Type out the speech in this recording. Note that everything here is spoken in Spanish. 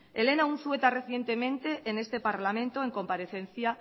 elena unzueta recientemente en este parlamento en comparecencia